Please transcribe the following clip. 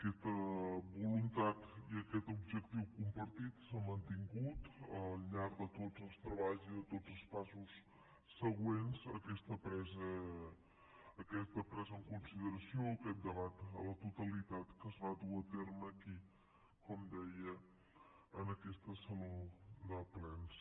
aquesta voluntat i aquest objectiu compartit s’han mantingut al llarg de tots els treballs i de tots els passos següents a aquesta presa en consideració a aquest debat a la totalitat que es va dur a terme aquí com deia en aquest saló de plens